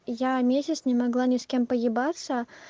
я месяц не могла ни с кем поебаться